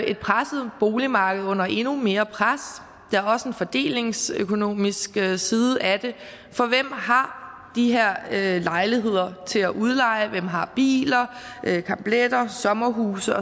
et presset boligmarked under endnu mere pres der er også en fordelingsøkonomisk side af det for hvem har de her lejligheder til at udleje hvem har biler campletter sommerhuse